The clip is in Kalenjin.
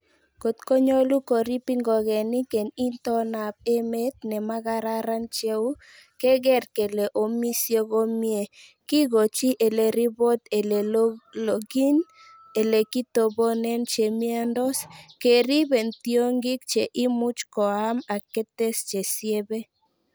Got konyolu koriib ingogenik en itondab emet nemakararan cheu,,keeger kele omisie komie, kigochi ele ribot ele logyin, ele kitoboonen che miondos, Keerib en tiongik che imuch koam ak ketes che siebe.